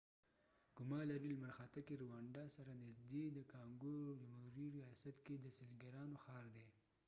ګوما لرې لمرخاته کې رووانډا سره نږدې د کانګو جمهوري ریاست کې د سېلګرانو ښار دی